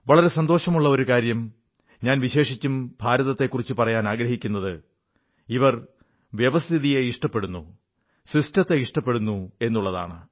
വളരെ സന്തോഷമുള്ള ഒരു കാര്യം ഞാൻ വിശേഷിച്ചും ഭാരതത്തെ കുറിച്ചു പറയാനാഗ്രഹിക്കുന്നത് ഇവർ വ്യവസ്ഥിതിയെ ഇഷ്ടപ്പെടുന്നു എന്നുള്ളതാണ്